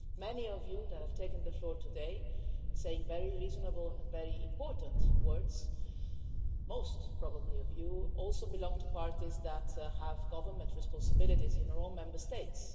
Many of you that have taken the floor today, saying very reasonable and very important words most, probably, of you also belong to parties that have government responsibilities in your own Member States.